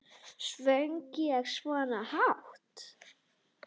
Söng ég svona hátt?